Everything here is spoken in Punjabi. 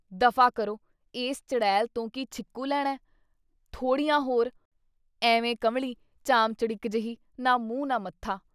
ਦਫ਼ਾ ਕਰੋ! ਏਸ ਚੜੇਲ ਤੋਂ ਕੀ ਛਿੱਕੂ ਲੈਣਾ ? ਥੋੜ੍ਹੀਆਂ ਹੋਰ! ਐਵੇਂ ਕੰਵਲੀ ਚਾਮਚੜਿਕ ਜਿਹੀ, ਨਾ ਮੂੰਹ ਨਾ ਮੱਥਾ।